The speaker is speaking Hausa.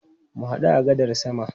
Mu hadu a gadar sama.